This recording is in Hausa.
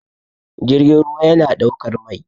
jirgin ruwa yana ɗaukar Mai